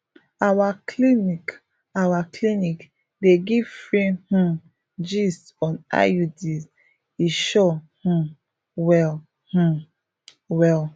our clinic our clinic dey give free um gist on iuds e sure um well um well